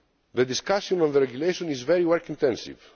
The discussion of the regulation is very work intensive.